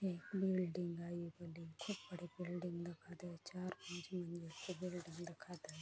यह बिल्डिंग है बड़ी बड़ी बिल्डिंग दिखाते चार पांच मंज़िल बिल्डिंग दिखाना--